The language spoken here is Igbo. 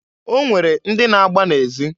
O nwere ndị na-agba na ezi.